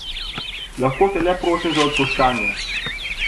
Lahko te le prosim za odpuščanje.